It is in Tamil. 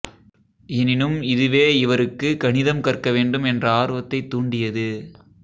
எனினும் இதுவே இவருக்குக் கணிதம் கற்க வேண்டும் என்ற ஆர்வத்தைத் தூண்டியது